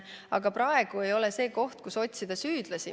Aga praegu ei ole aeg otsida süüdlasi.